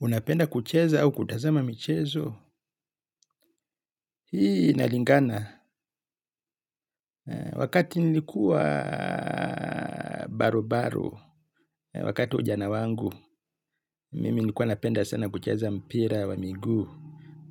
Unapenda kucheza au kutazama michezo? Hii, inalingana. Wakati nilikuwa barubaru, wakati ujana wangu, mimi nilikuwa napenda sana kucheza mpira wa migu,